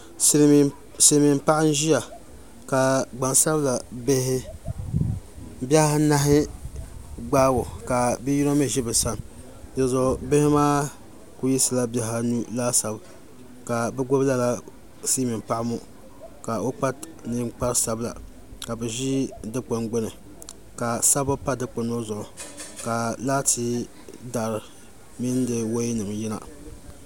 Silmiin paɣa n ʒiya ka gbansabila bihi bihi anahi gbaagi o ka bia yino mii ʒi bi sani dizuɣu bihi maa ku yisila bihi anu laasabu ka bi gbubi lala silmiin paɣa ŋɔ ka o kpa ninkpari sabila ka bi ʒi Dikpuni gbuni ka sabbu pa dikpuni ŋɔ zuɣu ka laati dari mini di woya nim yina